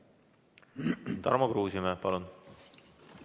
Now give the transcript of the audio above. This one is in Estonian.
Tarmo Kruusimäe, palun!